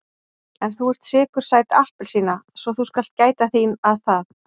En þú ert sykursæt appelsína svo þú skalt gæta þín að það.